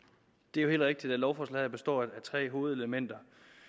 det er helt rigtigt at lovforslaget består af tre hovedelementer